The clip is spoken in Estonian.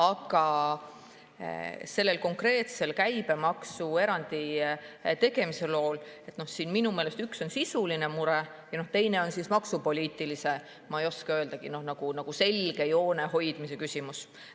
Aga selle käibemaksuerandi tegemise on minu meelest üks sisuline mure ja üks maksupoliitilise selge joone hoidmise küsimus.